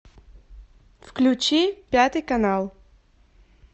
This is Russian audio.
включи пятый канал